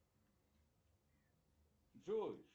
джой